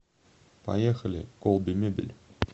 поехали колби мебель